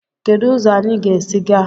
Kedu ụzọ anyị ga-esi gaa?